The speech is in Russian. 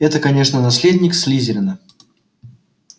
это конечно наследник слизерина